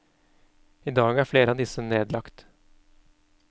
I dag er flere av disse nedlagt.